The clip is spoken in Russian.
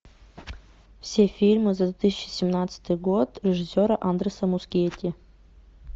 все фильмы за две тысячи семнадцатый год режиссера андреса мускетти